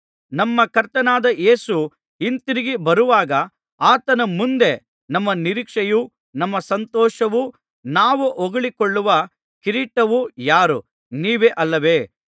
ನಮ್ಮ ಕರ್ತನಾದ ಯೇಸು ಹಿಂತಿರುಗಿ ಬರುವಾಗ ಆತನ ಮುಂದೆ ನಮ್ಮ ನಿರೀಕ್ಷೆಯೂ ನಮ್ಮ ಸಂತೋಷವೂ ನಾವು ಹೊಗಳಿಕೊಳ್ಳುವ ಕಿರೀಟವೂ ಯಾರು ನೀವೇ ಅಲ್ಲವೇ